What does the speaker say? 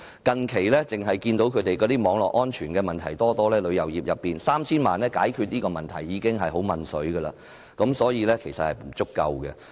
近期，我們看到旅遊業中存在很多網絡安全問題，要以 3,000 萬元解決這些問題已十分勉強，所以這是不足夠的。